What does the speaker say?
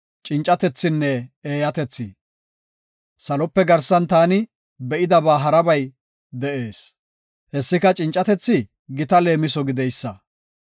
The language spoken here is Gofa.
Salope garsan taani be7idaba harabay de7ees. Hessika cincatethi gita leemiso gideysa.